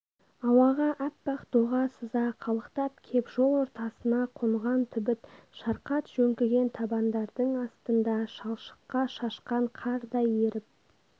ауаға аппақ доға сыза қалықтап кеп жол ортасына қонған түбіт шарқат жөңкіген табандардың астында шалшыққа шашқан қардай еріп